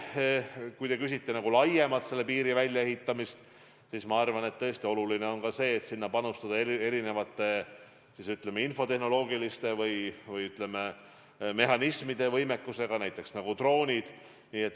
Kui te küsite laiemalt piiri väljaehitamise kohta, siis ma arvan, et tõesti oluline on ka see, et sinna saab panustada erineva, ütleme, infotehnoloogilise ja mehhanismide võimekusega, näiteks droonid.